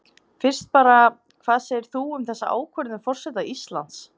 Fyrst bara, hvað segir þú um þessa ákvörðun forseta Íslands?